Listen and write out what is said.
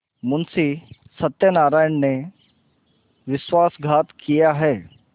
मुंशी सत्यनारायण ने विश्वासघात किया है